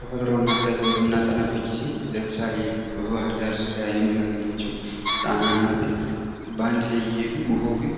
ተፈጥሮ እና አካባቢዋን በምናጠናበት ጊዜ ለምሳሌ በባህር ዳር ዙሪያ የምናገኛቸው ጣና እና አባይ በአንድ ላይ እየሔዱ ውኃው ግን